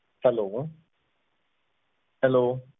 HelloHello